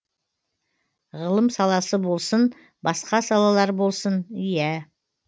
ғылым саласы болсын басқа салалар болсын иә